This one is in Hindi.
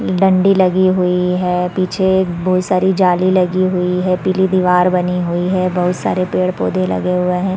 डंडी लगी हुई है पीछे एक बहोत सारी जाली लगी हुई है पीली दीवाल बनी हुई है बहोत सारे पेड़-पौधे लगे हुए हैं ।